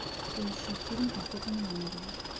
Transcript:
поищи фильм охота на ангелов